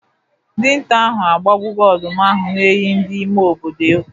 Dinta ahụ agbagbogo ọdụm ahụ na-eyibu ndị ime obodo egwu.